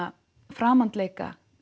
framandleika